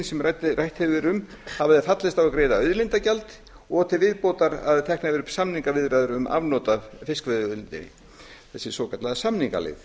sem rætt hefur verið um hafa þeir fallist á að greiða auðlindagjald og til viðbótar að teknar yrðu upp samningaviðræðum um afnot af fiskveiðiauðlindinni þessi svokallaða samningaleið